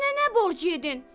"Mənə nə borc yedin?